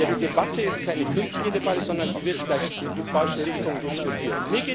Die Debatte ist keine künstliche Debatte, sondern sie wird vielleicht in die falsche Richtung diskutiert.